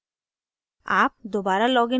कोई फर्क नहीं पड़ता